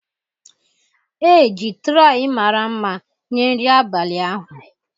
E ji traị mara mma nye nri abalị ahụ.